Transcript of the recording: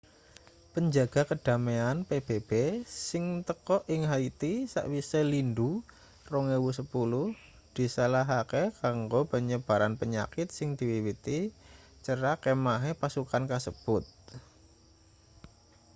penjaga kedamaian pbb sing teka ing haiti sakwise lindhu 2010 disalahake kanggo penyebaran penyakit sing diwiwiti cerak kemahe pasukan kasebut